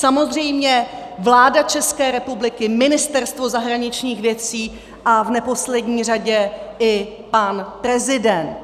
Samozřejmě vláda České republiky, Ministerstvo zahraničních věcí a v neposlední řadě i pan prezident.